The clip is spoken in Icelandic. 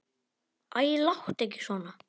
Æ, láttu ekki svona.